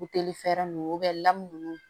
Buteli fɛrɛ ninnu u bɛ lamunumunu